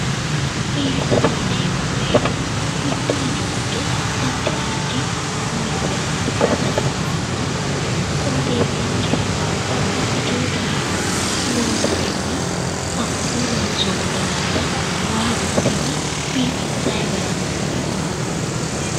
biifisate yineemmowoyite mittu mini giddo addi addi misile amadisiisatenninna qooxeesinkera babbaxxitino daraaro loosatenni hakkuriuu loonsoommo daraarora waa dunatenni biifinsayi gara biifisate yinanni.